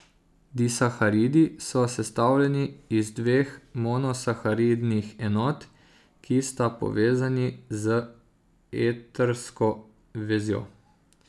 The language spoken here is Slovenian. Disaharidi so sestavljeni iz dveh monosaharidnih enot, ki sta povezani z etrsko vezjo.